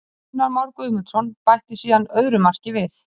Gunnar Már Guðmundsson bætti síðan öðru marki við.